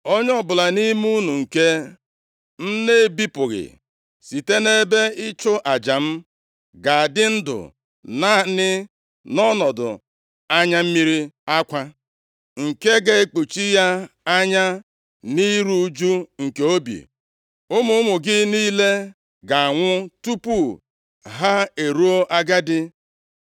Onye ọbụla nʼime unu nke m na-ebipụghị site nʼebe ịchụ aja m ga-adị ndụ naanị nʼọnọdụ anya mmiri akwa nke ga-ekpuchi ya anya, na iru ụjụ nke obi. Ụmụ ụmụ gị niile ga-anwụ tupu ha eruo agadi.